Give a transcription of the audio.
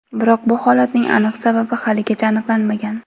Biroq bu holatning aniq sababi haligacha aniqlanmagan.